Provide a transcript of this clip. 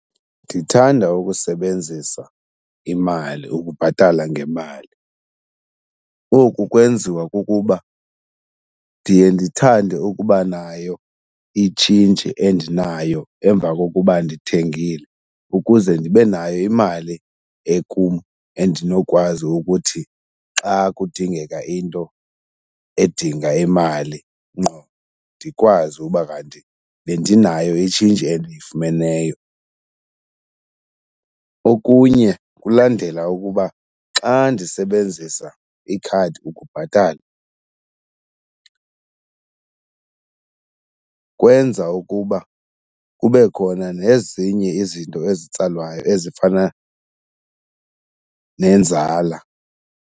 Ndithanda ukusebenzisa imali, ukubhatala ngemali. Oku kwenziwa kukuba ndiye ndithande ukuba nayo itshintshi endinayo emva kokuba ndithengile ukuze ndibe nayo imali ekum endinokwazi ukuthi xa kudingeka into edinga imali ngqo ndikwazi uba kanti bendinayo itshintshi endiyifumeneyo. Okunye kulandela ukuba xa ndisebenzisa ikhadi ukubhatala kwenza ukuba kube khona nezinye izinto ezitsalwayo ezifana nenzala.